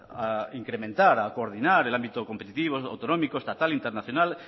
a incrementar a coordinar el ámbito competitivo autonómico estatal internacional